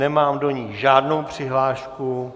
Nemám do ní žádnou přihlášku.